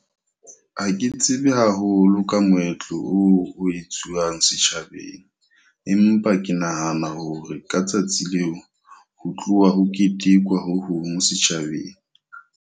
Ha ke tsebe haholo ka moetlo oo ho etsuwang setjhabeng. Empa ke nahana hore ka tsatsi leo, ho tloha ho ketekwa ho hong setjhabeng.